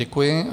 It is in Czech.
Děkuji.